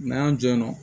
N'an y'an jɔ yen nɔ